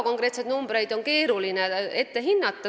Konkreetseid summasid on loomulikult keeruline ette ära arvestada.